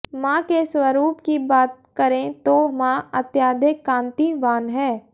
मां के स्वरूप की बात करें तो मां अत्याधिक कांतिवान है